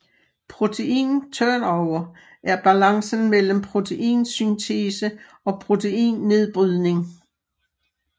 Protein turnover er balancen mellem proteinsyntese og proteinnedbrydning